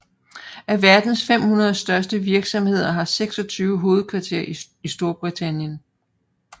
Af verdens 500 største virksomheder har 26 hovedkvarter i Storbritannien